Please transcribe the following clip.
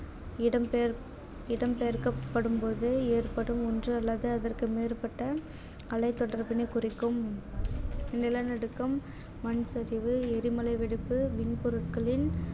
இடம் பெயர்~ இடம் பெயர்க்கப்படும்போது ஏற்படும் ஒன்று அல்லது அதற்கு மேற்பட்ட அலைத்தொடர்பினை குறிக்கும் நிலநடுக்கம், மண்சரிவு, எரிமலை வெடிப்பு, மின்பொருட்களின்